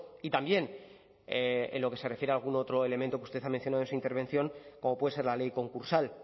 y también en lo que se refiere a algún otro elemento que usted ha mencionado en su intervención como puede ser la ley concursal